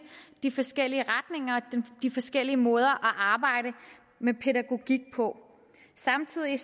de forskellige retninger og de forskellige måder at arbejde med pædagogik på samtidig